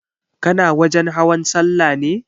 Kana wajen hawan sallah ne?